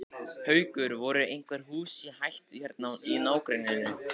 Haukur: Voru einhver hús í hættu hérna í nágrenninu?